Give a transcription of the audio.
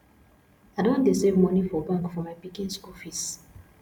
i don dey save moni for bank for my pikin school fees